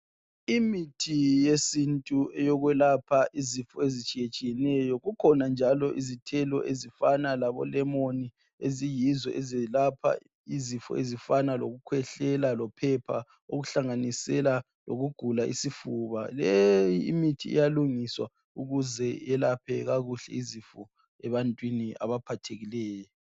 Imithi yesintu eyokwelapha izifo ezitshiyetshiyeneyo. Kukhona njalo izithelo ezifana labo lemoni eziyizo ezelapha izifo ezifana okukhwehlela lophepha okuhlanganisela lokugula isifuba Le imithi iyalungiswa ukuze yelaphe kakhuhle izifo ebantwini abaphathekileyo